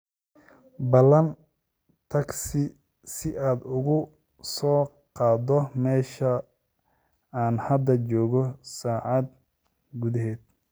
ballan tagsi si aad uga soo qaado meesha aan hadda joogo saacad gudaheed